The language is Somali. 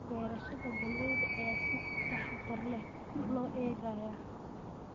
Beerashada galleyda ayaa si taxadar leh loo eegayaa.